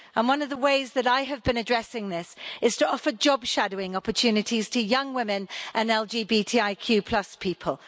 One of the ways that I have been addressing this is to offer job shadowing opportunities to young women and LGBTIQ people.